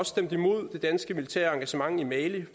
stemt imod det danske militære engagement i mali vi